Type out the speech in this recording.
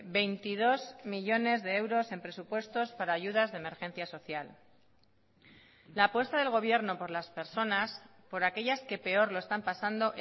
veintidós millónes de euros en presupuestos para ayudas de emergencia social la apuesta del gobierno por las personas por aquellas que peor lo están pasando